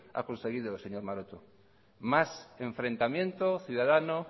ha conseguido señor maroto más enfrentamiento ciudadano